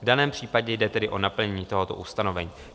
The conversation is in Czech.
V daném případě jde tedy o naplnění tohoto ustanovení.